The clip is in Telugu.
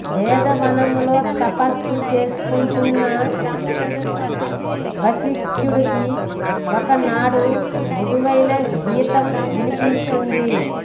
వేదవనంలో తపస్సు చేసుకొంటున్న వసిష్ఠుడికి ఒకనాడు మధురమైన గీతం వినిపిస్తుంది